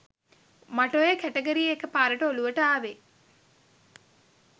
මට ඔය කැටගරිය එක පාරට ඔළුවට ආවේ